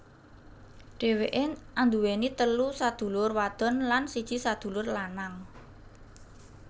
Dheweké anduweni telu sadulur wadon lan siji sadulur lanang